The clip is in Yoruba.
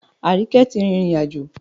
Àríkẹ́ tí rìrìn àjò